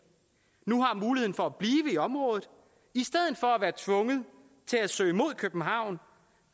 nu har muligheden for at blive i området i stedet for at være tvunget til at søge mod københavn